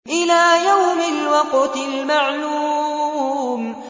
إِلَىٰ يَوْمِ الْوَقْتِ الْمَعْلُومِ